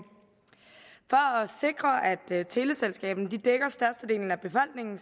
sikre at teleselskaberne dækker størstedelen af befolkningen